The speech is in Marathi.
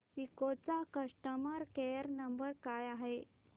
सिस्को चा कस्टमर केअर नंबर काय आहे